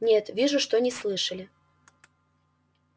нет вижу что не слышали